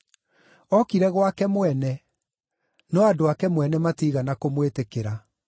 Okire gwake mwene, no andũ ake mwene matiigana kũmwĩtĩkĩra.